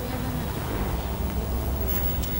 Rĩa thamaki ta maĩ ta merĩ o kiumia